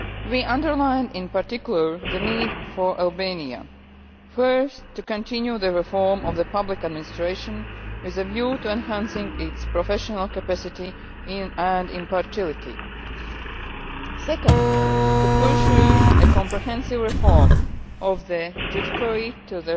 We underline in particular the need for Albania first, to continue the reform of public administration with a view to enhancing its professional capacity and impartiality second, to pursue a comprehensive reform of its judiciary to